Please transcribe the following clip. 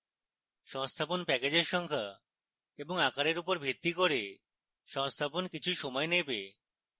সংস্থাপন প্যাকেজের সংখ্যা এবং আকারের উপর ভিত্তি করে সংস্থাপন কিছু সময় নেবে